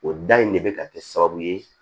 O da in de bɛ ka kɛ sababu ye